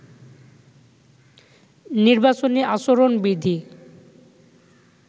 নির্বাচনী আচরণ বিধি